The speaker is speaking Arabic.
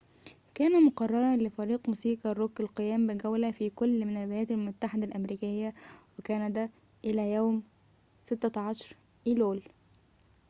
كان مقرراً لفريق موسيقى الروك القيام بجولة في كلٍ من الولايات المتحدة الأمريكية وكندا إلى يوم 16 أيلول